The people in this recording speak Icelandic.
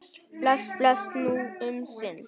Bless, bless, nú um sinn.